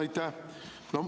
Aitäh!